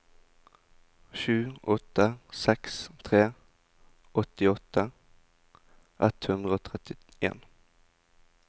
sju åtte seks tre åttiåtte ett hundre og trettien